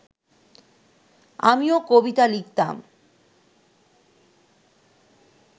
আমিও কবিতা লিখতাম